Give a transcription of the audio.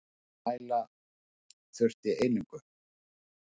Til að mæla þurfti einingu.